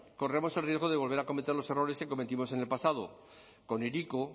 corremos el riesgo de volver a cometer los errores que cometimos en el pasado con hiriko